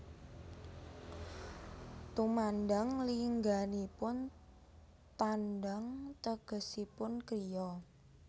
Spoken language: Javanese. Tumandang lingganipun tandang tegesipun kriya